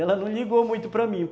Ela não ligou muito para mim.